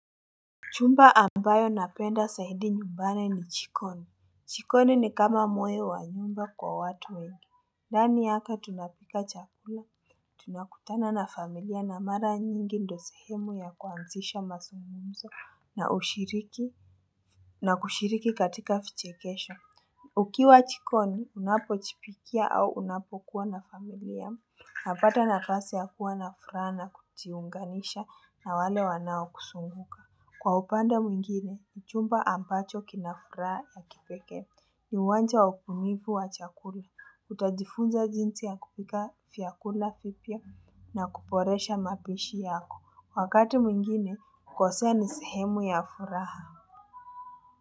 Chumba ambayo napenda zaidi nyumbani ni jikoni, jikoni ni kama moyo wa nyumba kwa watu wengi, ndani yaka tunapika chakula, tunakutana na familia na mara nyingi ndo sehemu ya kuanzisha mazungumzo na ushiriki na kushiriki katika vichekesho, ukiwa jikoni unapojipikia au unapo kuwa na familia, napata nafasi ya kuwa na furaha na kujiunganisha na wale wanao kuzunguka. Kwa upande mwingine, ni chumba ambacho kina furaha ya kipekee ni uwanja wakumivu wa chakula. Utajifunza jinsi ya kupika vyakula vipya na kuboresha mapishi yako. Wakati mwingine, kosea ni sehemu ya furaha.